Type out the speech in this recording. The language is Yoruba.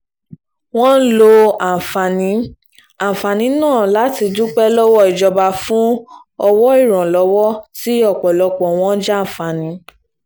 wọ́n lo àǹfààní àǹfààní náà láti dúpẹ́ lọ́wọ́ ìjọba fún owó ìrànwọ́ tí ọ̀pọ̀lọpọ̀ wọn jàǹfààní